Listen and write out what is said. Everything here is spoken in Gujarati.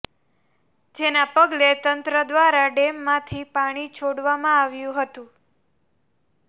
જેના પગલે તંત્ર દ્વારા ડેમમાંથી પાણી છોડવામાં આવ્યું હતું